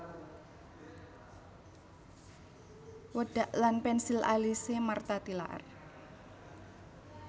Wedak lan pensil alise Martha Tilaar